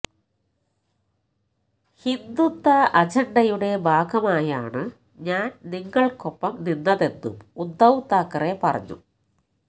ഹിന്ദുത്വ അജണ്ടയുടെ ഭാഗമായാണ് ഞാന് നിങ്ങള്ക്കൊപ്പം നിന്നതെന്നും ഉദ്ധവ് താക്കറെ പറഞ്ഞു